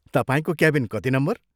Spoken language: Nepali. तपाईंको क्याबिन कति नम्बर?